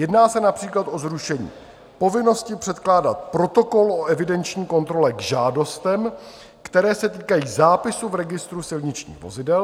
Jedná se například o zrušení povinnosti předkládat protokol o evidenční kontrole k žádostem, které se týkají zápisu v registru silničních vozidel.